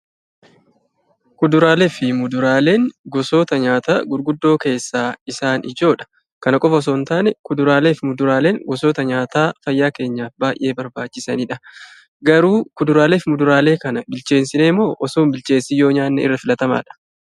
Kuduraalee fi Muduraaleen gosoota nyaataa gurguddoo keessaa isaan ijoodha. Kana qofa osoo hin ta'iin kuduraalee fi muduraaleen gosoota nyaataa fayyaa keenyaaf baay'ee barbaachisanidha. Garuu kuduraalee fi muduraalee kana bilcheessinee moo otoo hin bilcheessiin yoo nyaanne filatamaadha?